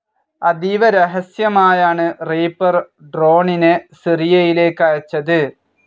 അതീവ രഹസ്യമായാണ് റിപ്പർ ഡ്രോണിനെ സിറിയയിലേക്ക് അയച്ചത്.